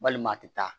Walima a tɛ taa